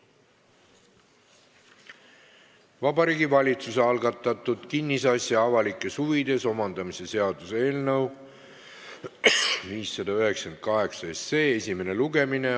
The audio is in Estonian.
Vabariigi Valitsuse algatatud kinnisasja avalikes huvides omandamise seaduse eelnõu 598 esimene lugemine.